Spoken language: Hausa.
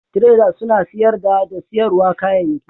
traders suna siyarda da siyarwa kayayyaki